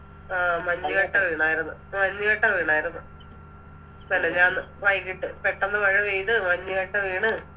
ആ മഞ്ഞ് കട്ട വീണര്ന്ന് മഞ്ഞ് കട്ട വീണര്ന്ന് മെനഞ്ഞാണ് വൈകിട്ട് പെട്ടന്ന് മഴ പെയ്ത് മഞ്ഞ് കട്ട വീണ്